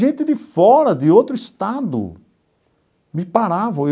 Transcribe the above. Gente de fora, de outro estado, me paravam.